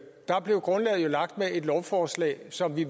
der blev grundlaget jo lagt med et lovforslag som vi